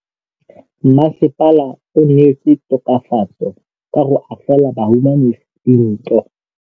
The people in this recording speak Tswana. Mmasepala o neetse tokafatsô ka go agela bahumanegi dintlo.